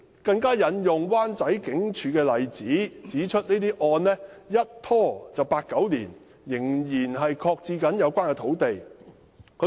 她更引用灣仔警署的例子，指出個案一拖便拖了八九年，有關土地的發展仍然擱置。